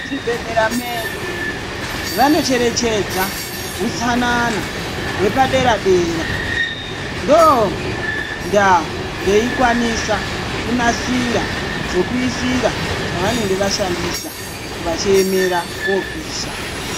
Muzvibhedhlera medu, vanocherechedza utsanana hwepadera-dera, ndondaa veikwanisa kunasira zvekuisira zvavanenge vashandisa vachiemera kopisha.